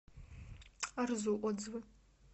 арзу отзывы